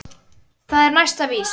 Það er næsta víst.